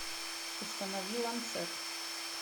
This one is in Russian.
установи ланцет